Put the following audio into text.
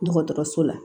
Dɔgɔtɔrɔso la